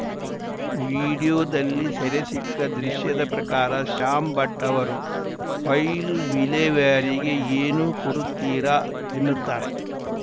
ವಿಡಿಯೋದಲ್ಲಿ ಸೆರೆಸಿಕ್ಕ ದೃಶ್ಯದ ಪ್ರಕಾರ ಶ್ಯಾಂ ಭಟ್‌ ಅವರು ಫೈಲ್‌ ವಿಲೇವಾರಿಗೆ ಏನು ಕೊಡುತ್ತೀರಾ ಎನ್ನುತ್ತಾರೆ